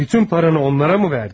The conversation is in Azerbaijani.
Bütün pulunu onlara verdinmi?